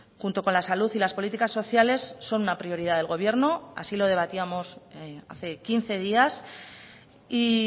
junto con la salud y las políticas sociales son una prioridad del gobierno así lo debatíamos hace quince días y